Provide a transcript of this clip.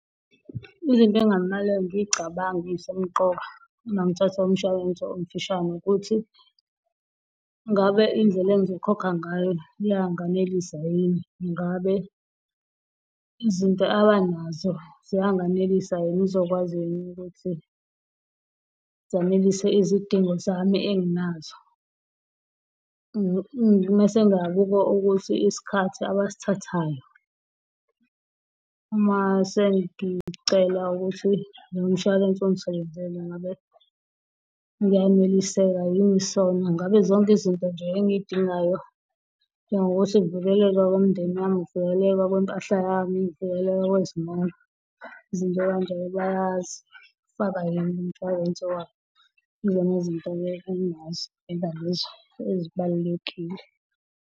Izinto ekungamele ngiy'cabanga eyisemqoka uma ngithathe umshwalense omfishane ukuthi, ngabe indlela engizokhokha ngayo liyanganelisa yini? Ngabe izinto abanazo ziyanganelisa yini? Izokwazi yini ukuthi zanelise izidingo zami enginazo mase ngiyabuka ukuthi isikhathi abasithathayo uma sengicela ukuthi lo mshwalense ungisebenzele, ngabe ngiyaneliseka yini? So, ngabe zonke izinto nje engiyidingayo njengo kuthi kuvikeleke umndeni wami, ukuvikeleka kwempahla yami, ukuvikeleka kwezimoto, izinto ey'kanjalo bayazifaka yini kumshwalense wabo? Yizona izinto-ke ezibalulekile.